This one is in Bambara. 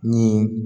Ni